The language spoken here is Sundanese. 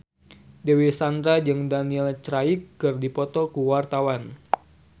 Dewi Sandra jeung Daniel Craig keur dipoto ku wartawan